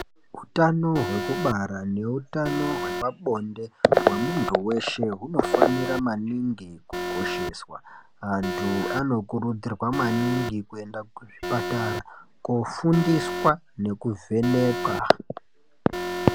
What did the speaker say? Hutano hwekubara neutano hwepabonde hwemuntu weshe hunofanira maningi kukosheswa. Antu anokurudzirwa maningi kuenda kuzvipatara kofundiswa nekuvhenekwa.